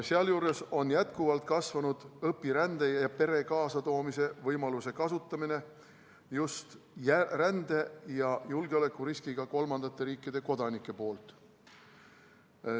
Sealjuures on jätkuvalt kasvanud õpirände ja pere kaasatoomise võimaluse kasutamine just rände- ja julgeolekuriskiga kolmandate riikide kodanike puhul.